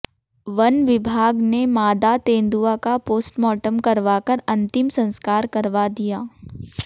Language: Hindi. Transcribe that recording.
वन विभाग ने मादा तेंदुआ का पोस्टमार्टम करवाकर अंतिम संस्कार करवा दिया